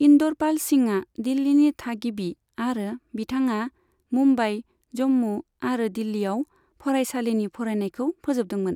इन्दरपाल सिंहआ दिल्लीनि थागिबि, आरो बिथाङा मुम्बाइ, जम्मू आरो दिल्लीआव फरायसालिनि फरायनायखौ फोजोबदोंमोन।